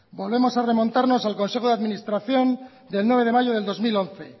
volvemos a remontarnos al consejo de administración del nueve de mayo de dos mil once